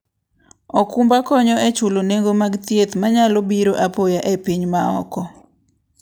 okumba konyo e chulo nengo mag thieth manyalo biro apoya e piny maoko.